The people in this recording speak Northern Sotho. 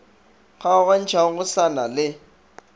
kgaogantšhago go sa na le